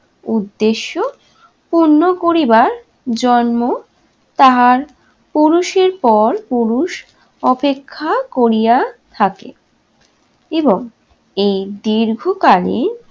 উদ্দেশ্য পূণ্য করিবার জন্ম তাহার পুরুষের পর পুরুষ অপেক্ষা করিয়া থাকে এবং এই দীর্ঘকালীন